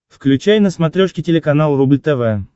включай на смотрешке телеканал рубль тв